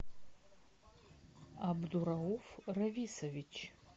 абдурауф рависович